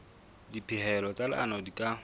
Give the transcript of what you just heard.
dipehelo tsa leano di ka